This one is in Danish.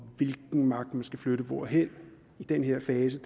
hvilken magt man skal flytte hvorhen i den her fase